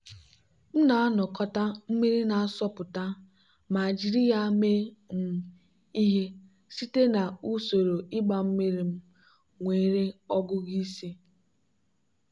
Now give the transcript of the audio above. m na-anakọta mmiri na-asọpụta ma jiri ya mee um ihe site na usoro ịgba mmiri m nwere ọgụgụ isi.